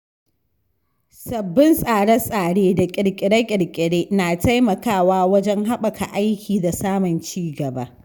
Sabbin tsare-tsare da ƙirƙire-ƙirƙire na taimakawa wajen haɓaka aiki da samun ci gaba.